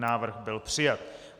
Návrh byl přijat.